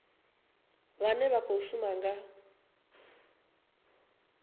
vhane vha khou shuma nga